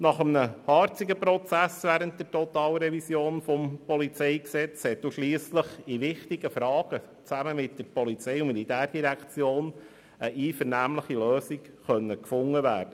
Nach einem harzigen Prozess während der Totalrevision des PolG konnte schliesslich in wichtigen Fragen mit der POM eine einvernehmliche Lösung gefunden werden.